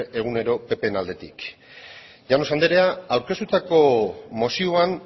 egunero ppren aldetik llanos andrea aurkeztutako mozioan